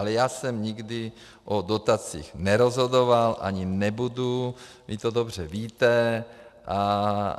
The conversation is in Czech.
Ale já jsem nikdy o dotacích nerozhodoval, ani nebudu, vy to dobře víte.